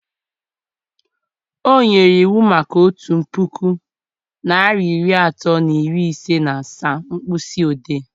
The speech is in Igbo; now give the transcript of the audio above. O nyere iwu maka otu puku narị iri atọ na iri ise na asaa mkpịsị ode